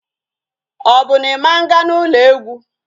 Ọ bụ na Ị ma nga n'ụlọ egwu?